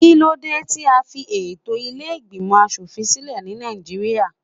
Kíló dé tí a fi ètò ilé ìgbìmò aṣòfin sílẹ̀ ní Nàìjíríà?